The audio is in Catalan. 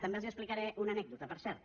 també els explicaré una anècdota per cert